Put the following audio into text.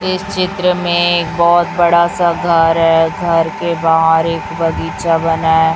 इस चित्र में एक बहुत बड़ा सा घर है घर के बाहर एक बगीचा बना है।